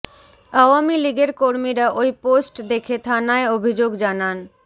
আওযামী লিগের কর্মীরা ওই পোস্ট দেখে থানায় অভিযোগ জানান